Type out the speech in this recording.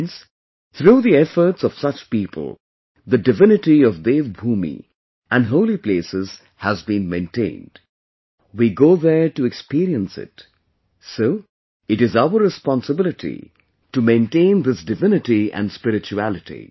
Friends, through the efforts of such people the divinity of Dev Bhoomi and holy places has been maintained...We go there to experience it, so it is our responsibility to maintain this divinity and spirituality